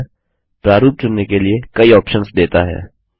writer प्रारूप चुनने के लिए कई ऑप्शन्स देता है